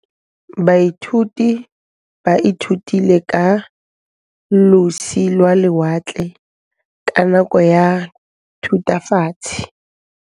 Baithuti ba ithutile ka losi lwa lewatle ka nako ya Thutafatshe.